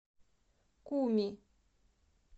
куми